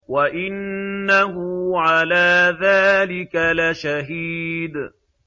وَإِنَّهُ عَلَىٰ ذَٰلِكَ لَشَهِيدٌ